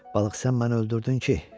Balıq, sən məni öldürdün ki?